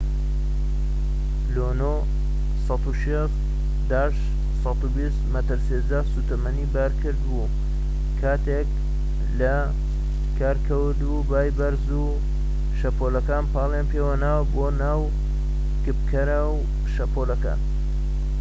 لونۆ 120-160 مەتر سێجا سوتەمەنی بار کرد بوو کاتێک کە لە کار کەوت و بای بەرز و شەپۆلەکان پاڵیان پێوەنا بۆ ناو کپکەرەوەی شەپۆڵەکان